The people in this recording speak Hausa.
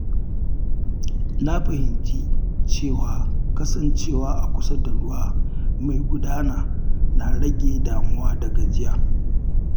Na fahimci cewa kasancewa a kusa da ruwa mai gudana na rage damuwa da gajiya.